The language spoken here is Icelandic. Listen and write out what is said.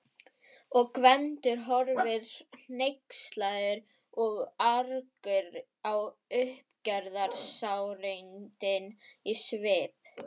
Og Gvendur horfir hneykslaður og argur á uppgerðarsárindin í svip